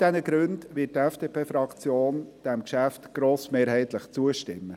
Aus all diesen Gründen wird die FDP-Fraktion diesem Geschäft grossmehrheitlich zustimmen.